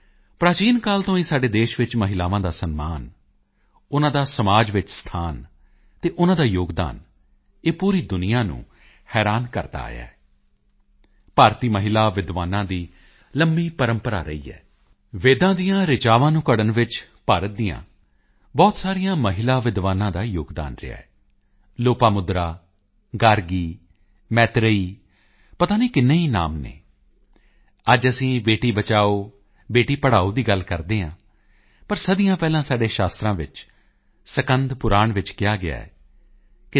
ਪ੍ਰਾਚੀਨ ਕਾਲ ਤੋਂ ਹੀ ਸਾਡੇ ਦੇਸ਼ ਵਿੱਚ ਮਹਿਲਾਵਾਂ ਦਾ ਸਨਮਾਨ ਉਨ੍ਹਾਂ ਦਾ ਸਮਾਜ ਵਿੱਚ ਸਥਾਨ ਅਤੇ ਉਨ੍ਹਾਂ ਦਾ ਯੋਗਦਾਨ ਇਹ ਪੂਰੀ ਦੁਨੀਆਂ ਨੂੰ ਹੈਰਾਨ ਕਰਦਾ ਆਇਆ ਹੈ ਭਾਰਤੀ ਮਹਿਲਾ ਵਿਦਵਾਨਾਂ ਦੀ ਲੰਬੀ ਪ੍ਰੰਪਰਾ ਰਹੀ ਹੈ ਵੇਦਾਂ ਦੀਆਂ ਰਿਚਾਵਾਂ ਨੂੰ ਘੜ੍ਹਨ ਵਿੱਚ ਭਾਰਤ ਦੀਆਂ ਬਹੁਤ ਸਾਰੀਆਂ ਮਹਿਲਾ ਵਿਦਵਾਨਾਂ ਦਾ ਯੋਗਦਾਨ ਰਿਹਾ ਹੈ ਲੋਪਾਮੁਦਰਾ ਗਾਰਗੀ ਮੈਤ੍ਰੇਈ ਪਤਾ ਨਹੀਂ ਕਿੰਨੇ ਹੀ ਨਾਮ ਹਨ ਅੱਜ ਅਸੀਂ ਬੇਟੀ ਬਚਾਓ ਬੇਟੀ ਪੜ੍ਹਾਓ ਦੀ ਗੱਲ ਕਰਦੇ ਹਾਂ ਪਰ ਸਦੀਆਂ ਪਹਿਲਾਂ ਸਾਡੇ ਸ਼ਾਸਤਰਾਂ ਵਿੱਚ ਸਕੰਦ ਪੁਰਾਣ ਵਿੱਚ ਕਿਹਾ ਗਿਆ ਹੈ ਕਿ